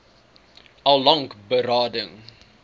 al lank berading